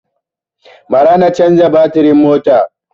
Ba ra na canza batirin motar